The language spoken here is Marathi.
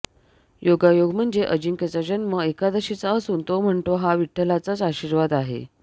योगायोग म्हणजे अजिंक्यचा जन्म एकादशीचा असून तो म्हणतो हा विठ्ठलाचाच आशीर्वाद आहे